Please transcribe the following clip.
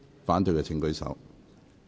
反對的請舉手。